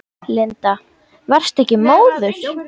Linda: Varstu ekkert móður?